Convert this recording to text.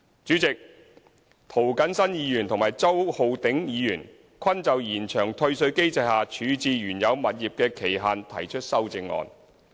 主席，涂謹申議員和周浩鼎議員均就延長退稅機制下處置原有物業的期限提出修正案。